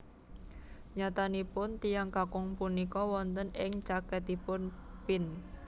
Nyatanipun tiyang kakung punika wonten ing caketipun Pin